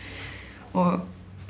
og